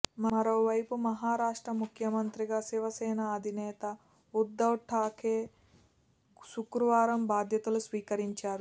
మరోవైపు మహారాష్ట్ర ముఖ్యమంత్రిగా శివసేన అధినేత ఉద్ధవ్ ఠాక్రే శుక్రవారం బాధ్యతలు స్వీకరించారు